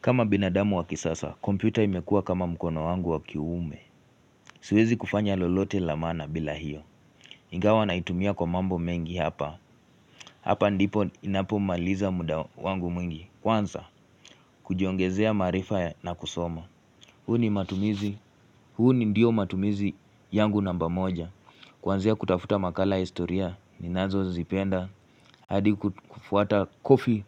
Kama binadamu wakisasa, kompyuta imekua kama mkono wangu wakiume. Siwezi kufanya lolote lamana bila hiyo. Ingawa na itumia kwa mambo mengi hapa. Hapa ndipo inapomaliza muda wangu mwingi. Kwanza, kujiongezea maarifa na kusoma. Huu ni matumizi. Huu ni ndiyo matumizi yangu namba moja. Kwanzia kutafuta makala historia. Ninazo zipenda. Hadi kufuata kofi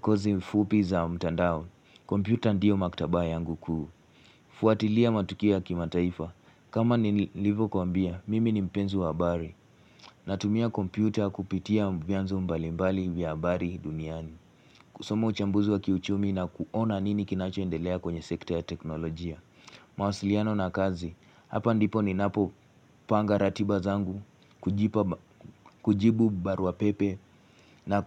kozi mfupi za mtandao. Kompyuta ndiyo maktaba yangu kuu Fuatilia matukia kima taifa kama nilivo kumbia Mimi nipenzi wa habari Natumia kompyuta kupitia vianzo mbalimbali vya habari duniani Kusomo uchambuzu wa kiuchumi na kuona nini kinachoendelea kwenye sekta ya teknolojia mawasiliano na kazi Hapa ndipo ni napopanga ratiba zangu kujibu barua pepe na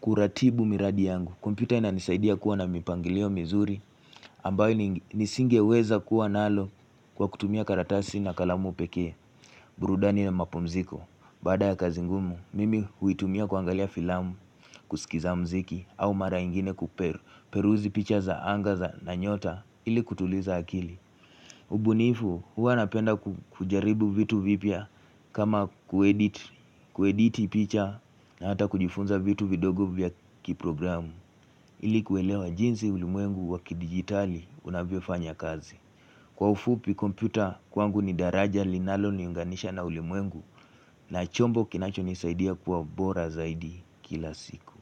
kuratibu miradi yangu kompyuta inanisaidia kuwa na mipangilio mizuri ambayo nisingeweza kuwa nalo kwa kutumia karatasi na kalamu peke burudani na mapunziko baada ya kazi ngumu mimi huitumia kuangalia filamu kusikiza mziki au mara ingine kuperuzi picha za angaza na nyota ili kutuliza akili ubunifu huwa napenda kujaribu vitu vipia kama kuediti picha na hata kujifunza vitu video group vya kiprogramu ilikuwelewa jinsi ulimuengu wakidigitali unavyofanya kazi. Kwa ufupi kompyuta kwangu ni daraja linalo niunganisha na ulimwengu na chombo kinacho nisaidia kuwa bora zaidi kila siku.